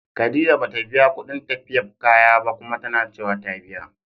Khadijah bata biya kudin tafiyab kaya ba, Kuma tanacewa ta biya.